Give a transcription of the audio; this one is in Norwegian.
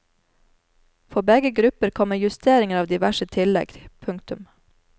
For begge grupper kommer justeringer av diverse tillegg. punktum